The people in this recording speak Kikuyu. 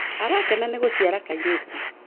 Arakena ni guciara kairitu